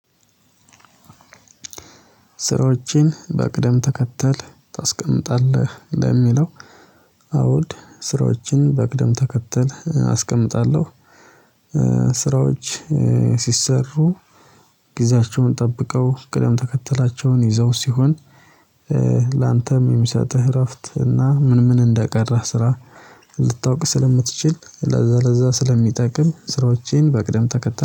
ስራዎችን በቅደም ተከተል ታስቀምጣለህ ለሚለው አውድ ስራዎችን በቅደም ተከተል አስቀምጣለሁ። ስራዎች ሲሰሩ ጊዜያቸውን ጠብቀው ቅደም ተከተላቸውን ይዘው ሲሆን። የሚሰጥህ እረፍት እና ምን ምን እንደቀረህ ስራ ልታውቅ ስለምትችል ለዛ ለዛ ስለሚጠቅም ስራዎቼን በቅደም ተከተል